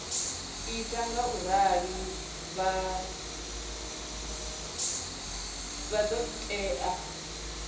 ita ngaurali vha ḓo tea